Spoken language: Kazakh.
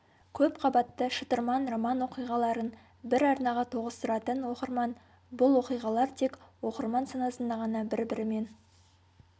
көп қабатты шытырман роман оқиғаларын бір арнаға тоғыстыратын оқырман бұл оқиғалар тек оқырман санасында ғана бір-бірімен